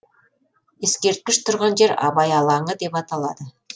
ескерткіш тұрған жер абай алаңы деп аталады